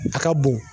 A ka bon